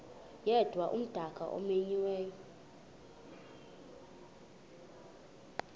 yedwa umdaka omenyiweyo